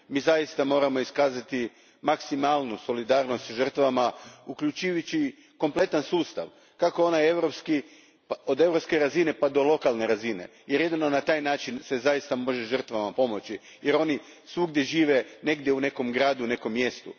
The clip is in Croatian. Mi zaista moramo iskazati maksimalnu solidarnost sa žrtvama, uključujući kompletan sustav, kako onaj od europske razine pa do lokalne razine, jer se jedino na taj način zaista može pomoći žrtvama, jer oni svugdje žive u nekom gradu, u nekom mjestu.